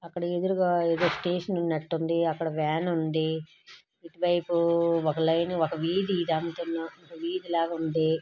అక్కడొక ఎదురుగ ఏదో స్టేషన్ ఉన్నట్టుంది అక్కడొక వ్యాన్ ఉంది ఇటు వైపు ఒక లైన్ ఒక వీధి ఇది ఒక వీధి లాగుంది.